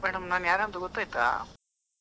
Madam ನಾನು ಯಾರಂತ ಗೊತ್ತಾಯ್ತಾ.